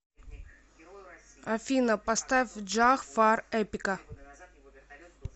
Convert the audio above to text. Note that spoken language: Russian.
афина поставь джах фар эпика